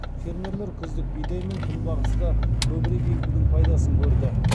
фермерлер күздік бидай мен күнбағысты көбірек егудің пайдасын көрді